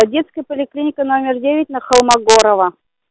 детская поликлиника номер девять на холмогорова